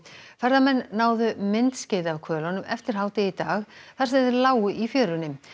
ferðamenn náðu myndskeiði af eftir hádegi í dag þar sem þeir lágu í fjörunni